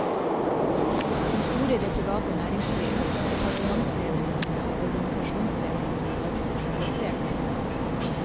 De store i det private næringsliv, departementsledelsene og organisasjonsledelsene har profesjonalisert dette.